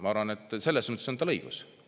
Ma arvan, et selles mõttes on tal õigus.